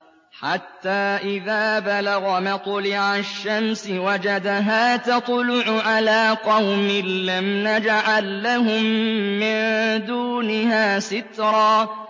حَتَّىٰ إِذَا بَلَغَ مَطْلِعَ الشَّمْسِ وَجَدَهَا تَطْلُعُ عَلَىٰ قَوْمٍ لَّمْ نَجْعَل لَّهُم مِّن دُونِهَا سِتْرًا